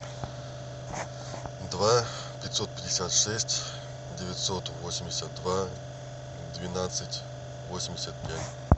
два пятьсот пятьдесят шесть девятьсот восемьдесят два двенадцать восемьдесят пять